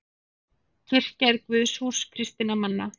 Kirkja er guðshús kristinna manna.